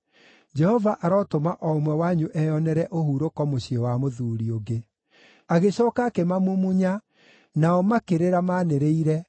Jehova arotũma o ũmwe wanyu eyonere ũhurũko mũciĩ wa mũthuuri ũngĩ.” Agĩcooka akĩmamumunya, nao makĩrĩra maanĩrĩire,